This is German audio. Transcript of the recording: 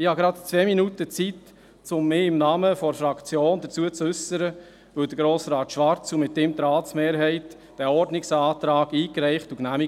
Ich habe gerade zwei Minuten Zeit, um mich im Namen der Fraktion dazu zu äussern, weil Grossrat Schwarz diesen Ordnungsantrag eingereicht und die Ratsmehrheit ihn